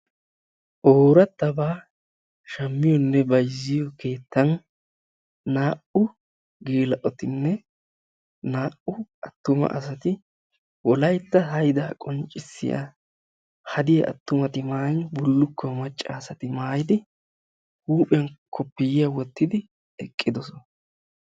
ooratabaa shammiyonne bayzziyo keettan naa'u geela'otinne naa'u atumma asati wolaytta haydaa qonccisiya hadiyaa atuma asati maayin bullukkuwaa macca asati maayin eqqidosona.